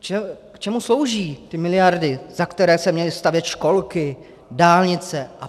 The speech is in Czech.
K čemu slouží ty miliardy, za které se měly stavět školky, dálnice apod.?